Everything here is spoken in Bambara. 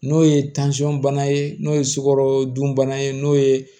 N'o ye bana ye n'o ye sukorodunbana ye n'o ye